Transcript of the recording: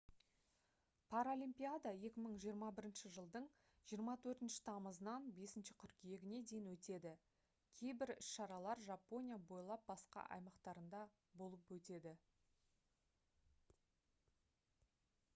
паралимпиада 2021 жылдың 24 тамызынан 5 қыркүйегіне дейін өтеді кейбір іс шаралар жапония бойлап басқа аймақтарында болып өтеді